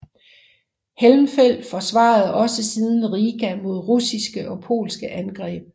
Helmfelt forsvarede også siden Riga mod russiske og polske angreb